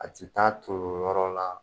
A tɛ taa ton yɔrɔ la.